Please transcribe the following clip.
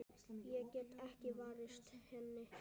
Ég get ekki varist henni.